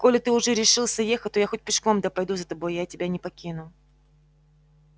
коли ты уже решился ехать то я хоть пешком да пойду за тобой я тебя не покину